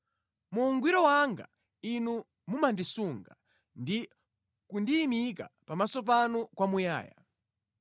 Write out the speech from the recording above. Mu ungwiro wanga Inu mumandisunga ndi kundiyimika pamaso panu kwamuyaya.